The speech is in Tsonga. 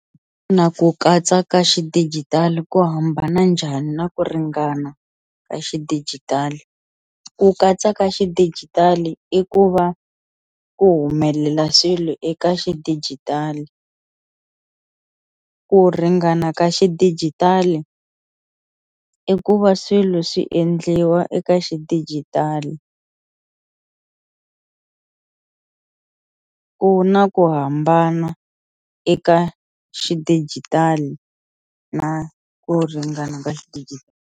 Ku katsa ka xidigitali ku hambana njhani na ku ringana ka xidijitali, ku katsa ka xidigitali i ku va ku humelela swilo eka xidijitali ku ringana ka xidijitali i ku va swilo swi endliwa eka xidijitali, ku na ku hambana eka xidijitali na ku ringana ka xidijitali.